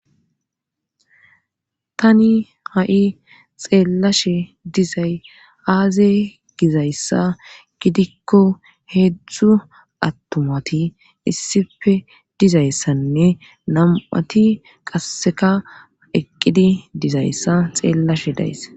tani ha7i xeellashe dizay aaze gizayssa gidikko heedzdzu attumati issife dizayssanne nam7ati qasseka eqqidi dizayssa xeellashe days